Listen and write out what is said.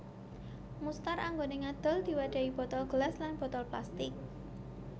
Mustar anggone ngadol diwadhahi botol gelas lan botol plastik